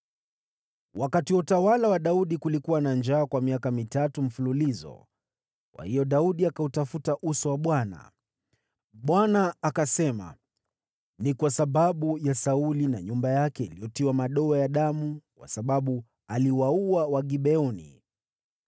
Wakati wa utawala wa Daudi kulikuwa na njaa kwa miaka mitatu mfululizo, kwa hiyo Daudi akautafuta uso wa Bwana . Bwana akasema, “Ni kwa sababu ya Sauli na nyumba yake iliyotiwa madoa ya damu, kwa sababu aliwaua Wagibeoni.”